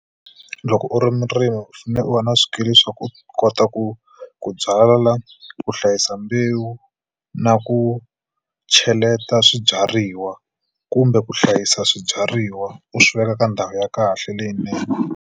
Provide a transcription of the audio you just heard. Loko u ri murimi u fanele u va na swikili swa ku kota ku ku byala ku hlayisa mbewu na ku cheleta swibyariwa kumbe ku hlayisa swibyariwa u swiveka ka ndhawu ya kahle leyinene.